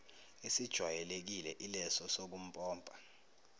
esijwayelekile ileso sokumpompa